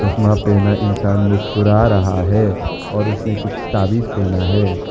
चश्मा पहना इंसान मुस्कुरा रहा है और उसने कुछ ताबीज पहना है।